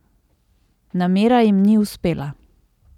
Namera jim ni uspela.